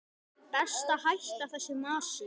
Best að hætta þessu masi.